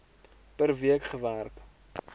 per week gewerk